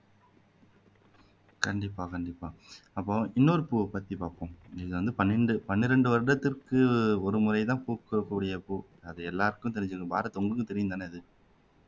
கண்டிப்பா கண்டிப்பா அப்போ இன்னொரு பூவைப்த்தி பாப்போம் இது வந்து பன்னெண்டு பன்னிரண்டு வருடத்துக்கு ஒருமுறைதான் பூக்கக்கூடிய பூ அது எல்லாருக்கும் தெரிஞ்சது பாரத் உங்களுக்கும் தெரியும்தானே அது